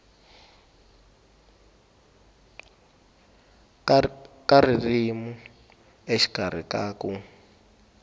ka ririmi exikarhi ka ku